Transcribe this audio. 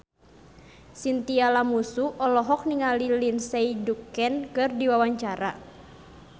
Chintya Lamusu olohok ningali Lindsay Ducan keur diwawancara